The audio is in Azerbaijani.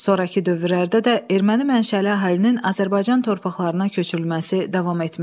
Sonrakı dövrlərdə də erməni mənşəli əhalinin Azərbaycan torpaqlarına köçürülməsi davam etmişdi.